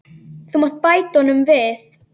Þú mátt bæta honum við.